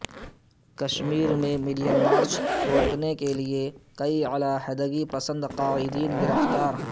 کشمیر میں million march روکنے کئی علیحدگی پسند قائدین گرفتار